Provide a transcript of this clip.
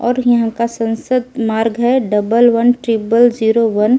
और यहां का संसद मार्ग है double one triple zero one.